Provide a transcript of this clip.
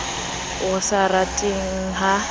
o sa rateng le ha